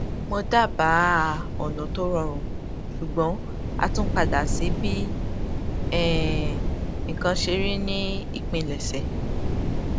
mo dábáà ọnà tó rọrùn ṣùgbọn a tún padà sí bí um nǹkan ṣe rí ní ìpilèṣè